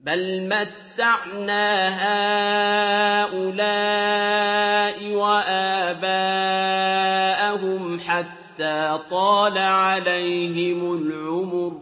بَلْ مَتَّعْنَا هَٰؤُلَاءِ وَآبَاءَهُمْ حَتَّىٰ طَالَ عَلَيْهِمُ الْعُمُرُ ۗ